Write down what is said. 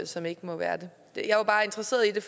som ikke må være det jeg er bare interesseret i det